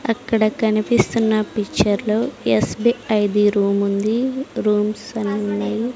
అక్కడ కనిపిస్తున్న పిక్చర్ లో ఎస్_బీ_ఐ ది రూమ్ ఉంది రూమ్స్ అన్ని.